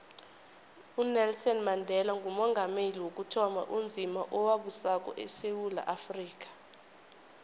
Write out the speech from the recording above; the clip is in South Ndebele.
unelson mandela ngumongameli wokuthoma onzima owabusako esewula afrika